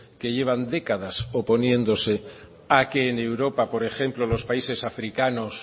que llevan décadas oponiéndose a que en europa por ejemplo los países africanos